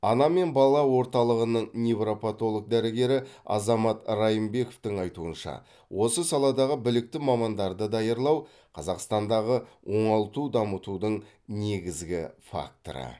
ана мен бала орталығының невропатолог дәрігері азамат райымбековтың айтуынша осы саладағы білікті мамандарды даярлау қазақстандағы оңалту дамытудың негізгі факторы